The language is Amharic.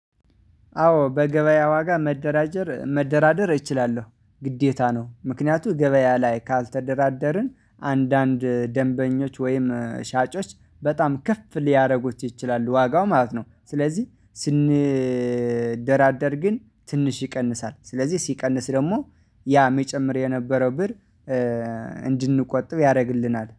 አዎ በገበያ ዋጋ መደራጀር መደራደር እችላለሁ ግዴታ ነው ምክንያቱ ገበያ ላይ ካልተደራደርን አንዳንድ ደንበኞች ወይም ሻጮች በጣም ክፍ ሊያደርጉት ይችላሉ ዋጋው ማለት ነው። ስለዚህ ስንደራደር ግን ትንሽ ይቀንሳል ስለዚህ ሲቀንስ ደግሞ ያ መጨመር የነበረው ብር እንድንቆጥብ ያደርግልናል